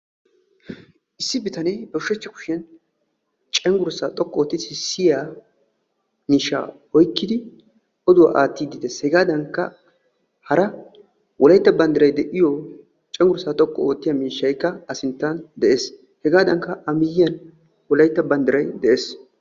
Issi bitanee ba ushshachcha kushiyan cenggurssa xoqqu ootti sissiya miishsha oykki odduwaa aattide de'ees. hegadankka hara wolaytta banddiray de'iyo cenggurssa xoqqu oottiya miishsha de'ees. hegadankka a miyyiyan wolaytta banddiray de'ees.